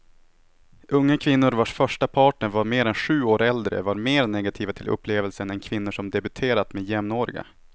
Unga kvinnor vars första partner var mer än sju år äldre var mer negativa till upplevelsen än kvinnor som debuterat med jämnåriga.